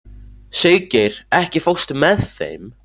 Siggeir, ekki fórstu með þeim?